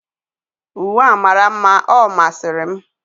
uwe a mara mma, ọ masịrị m.